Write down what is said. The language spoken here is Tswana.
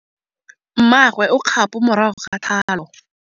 Mmagwe o kgapô morago ga tlhalô.